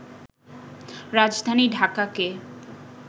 রাজধানী ঢাকাকে